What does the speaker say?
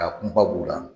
A kunba b'u la